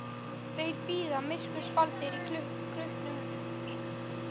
Þeir bíða myrkurs faldir í krukkum sínum.